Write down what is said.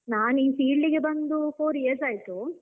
ನಾನ್ ಈ filed ಗೆ ಬಂದು four years ಆಯ್ತು.